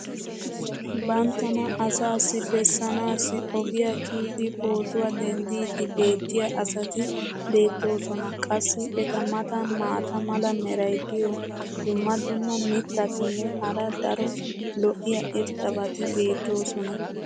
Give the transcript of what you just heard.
banttana asaassi bessanaassi ogiya kiyidi pootuwa dendiidi beetiya asati beetoosona. qassi eta matan maata mala meray diyo dumma dumma mitatinne hara daro lo'iya irxxabati beetoosona.